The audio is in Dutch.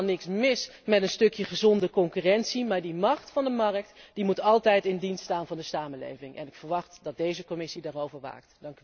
Er is helemaal niks mis met een stukje gezonde concurrentie maar de macht van de markt moet altijd in dienst staan van de samenleving en ik verwacht dat deze Commissie daarover waakt.